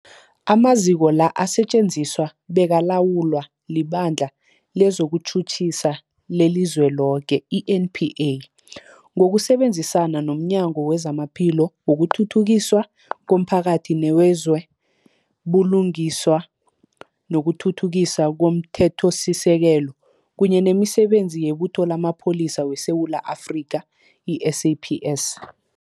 Amaziko la asetjenziswa bekalawulwa liBandla lezokuTjhutjhisa leliZweloke, i-NPA, ngokusebenzisana nomnyango wezamaPhilo, wokuthuthukiswa komphakathi newezo buLungiswa nokuThuthukiswa komThethosisekelo, kunye nemiSebenzi yeButho lamaPholisa weSewula Afrika, i-SAPS.